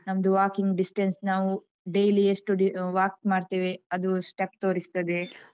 ನಮ್ದು walking distance ನಾವು, daily ಎಷ್ಟು ಡಿ ಆ walk ಮಾಡ್ತೇವೆ ಅದು step ತೋರಿಸ್ತದೆ.